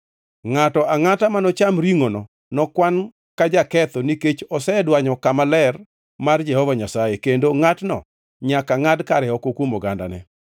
Ngʼato angʼata manocham ringʼono nokwan ka jaketho nikech osedwanyo kama ler mar Jehova Nyasaye, kendo ngʼatno nyaka ngʼad kare oko kuom ogandane.